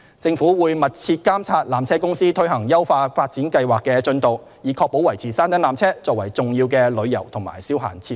政府會密切監察纜車公司推行優化發展計劃的進度，以確保維持山頂纜車作為重要的旅遊及消閒設施。